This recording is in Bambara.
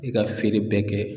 I ka feere bɛɛ kɛ.